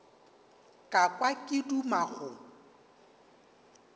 ka kwa ke duma go